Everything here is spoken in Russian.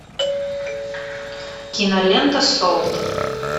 кинолента солт